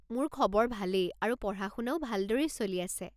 মোৰ খবৰ ভালেই আৰু পঢ়া-শুনাও ভালদৰেই চলি আছে।